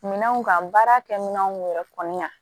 Minɛnw ka baara kɛminɛnw yɛrɛ kɔni na